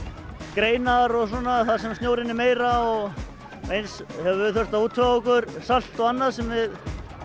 greinar og svona þar sem snjórinn er meira og eins höfum við þurft að útvega okkur salt og annað sem við